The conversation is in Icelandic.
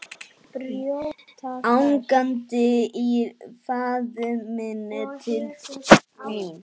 Angandi í faðminn til mín.